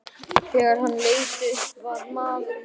Þegar hann leit upp var maðurinn horfinn.